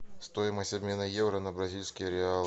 стоимость обмена евро на бразильский реал